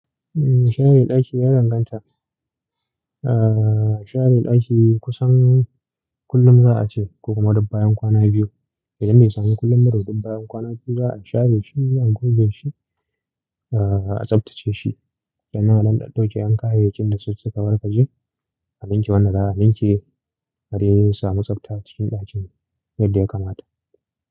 Umm, share ɗaki ya danganta. A share ɗaki kusan kullum za a ce ko kuma duk bayan kwana biyu. Idan bai samu kullum ba, to duk bayan kwana biyu za a share shi, a goge shi, a tsaftace shi. Sannan a ɗan ɗauke 'yan kayayyakin da suka wargaje. A ninke wanda za a ninke, a dai samu tsafta a cikin ɗakin yadda ya kamata.